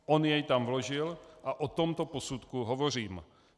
On jej tam vložil a o tomto posudku hovořím.